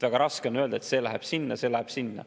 Väga raske on öelda, et see läheb sinna ja see läheb sinna.